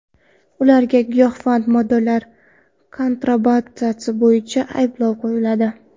Ularga giyohvand moddalar kontrabandasi bo‘yicha ayblov qo‘yiladi.